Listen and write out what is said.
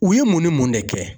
U ye mun ni mun de kɛ?